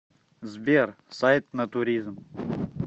сбер сайт натуризм